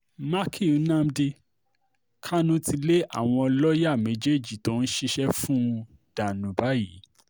màkì nnamdi kanu ti lé àwọn lọ́ọ̀yà méjèèjì tó ń ṣiṣẹ́ fún un dànù báyìí